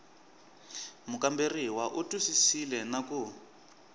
mukamberiwa u twisisile na ku